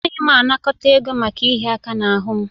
Anaghị m anakọta ego maka ịhịa aka n'ahụ m